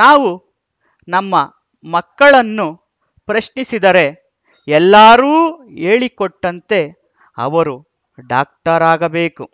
ನಾವು ನಮ್ಮ ಮಕ್ಕಳನ್ನು ಪ್ರಶ್ನಿಸಿದರೆ ಎಲ್ಲರೂ ಹೇಳಿಕೊಟ್ಟಂತೆ ಅವರು ಡಾಕ್ಟರ್‌ ಆಗಬೇಕು